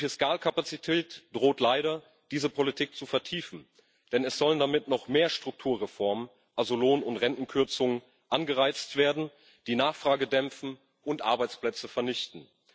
Die Fiskalkapazität droht leider diese Politik zu vertiefen, denn es sollen damit noch mehr Strukturreformen also Lohn und Rentenkürzungen angereizt werden, die Nachfrage dämpfen und Arbeitsplätze vernichten.